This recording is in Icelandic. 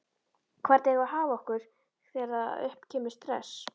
Hvernig eigum við að haga okkur þegar upp kemur stress?